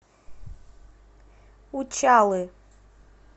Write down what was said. учалы